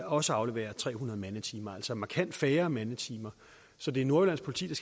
også aflevere tre hundrede mandetimer altså markant færre mandetimer så det er nordjyllands politi